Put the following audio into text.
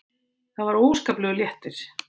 Það var óskaplegur léttir.